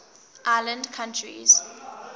island countries